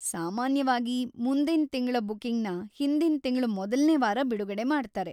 ಸಾಮಾನ್ಯವಾಗಿ, ಮುಂದಿನ್ ತಿಂಗ್ಳ ಬುಕ್ಕಿಂಗ್‌ನ ಹಿಂದಿನ್ ತಿಂಗ್ಳ ಮೊದಲ್ನೇ ವಾರ ಬಿಡುಗಡೆ ಮಾಡ್ತಾರೆ.